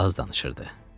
Az danışırdı.